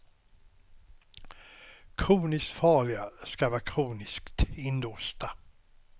Kroniskt farliga ska vara kroniskt inlåsta.